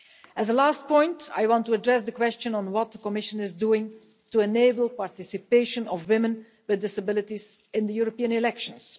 As a last point, I want to address the question on what the Commission is doing to enable participation of women with disabilities in the European elections.